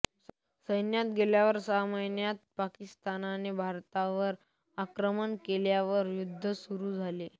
सैन्यात गेल्यावर सहाच महिन्यात पाकिस्तानने भारतावर आक्रमण केल्यावर युद्ध सुरू झाले